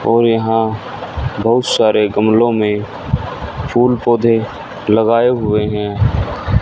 और यहां बहुत सारे गमले में फूल-पौधे लगाए हुए हैं।